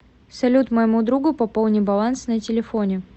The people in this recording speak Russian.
салют моему другу пополни баланс на телефоне